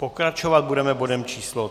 Pokračovat budeme bodem číslo